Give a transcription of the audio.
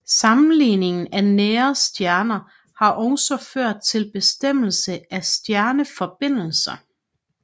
Sammenligning af nære stjerner har også ført til bestemmelse af stjerneforbindelser